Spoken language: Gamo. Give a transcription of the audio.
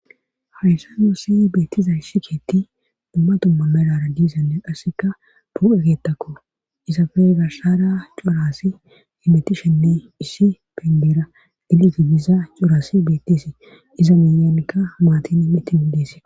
Hawyssa yuossi beettiza shiketti dummatumma melara diisanne qasseka bu7ekettakko isafe garhsara coraasi imeti shenne issi pindira diliti gisa coraasi beettisi iza miyyonikka maatin mitti mindise.